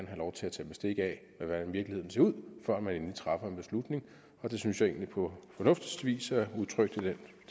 have lov til at tage bestik af hvordan virkeligheden ser ud før man endeligt træffer en beslutning og det synes jeg egentlig på fornuftigste vis er udtrykt i det